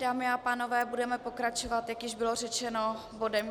Dámy a pánové, budeme pokračovat, jak již bylo řečeno, bodem